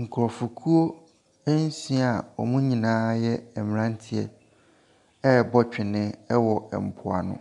Nkurɔfokuo nsia a wɔn nyinaa yɛ mmeranteɛ rebɔ twene wɔ mpoano.